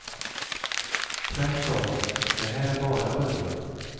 Tvärtom, det här är bara början.